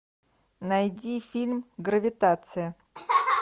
найди фильм гравитация